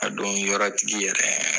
A don yɔrɔ tigi yɛrɛ